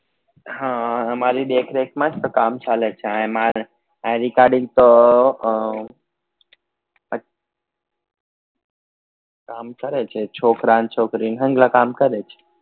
હા મારી દેખરેખ માં જ તો કામ ચાલે છે અહિયા માર કામ કરે છે છોકરા ન છોકરી હમણાં કામ કરે છે